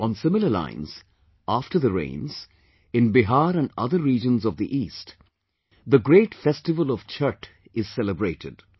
On similar lines, after the rains, in Bihar and other regions of the East, the great festival of Chhatth is celebrated